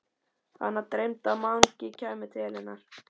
Hana dreymdi að Mangi kæmi til hennar.